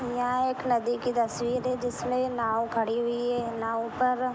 यहाँ एक नदी कि तस्वीर है जिसमें नाव खड़ी हुई है नाव पर --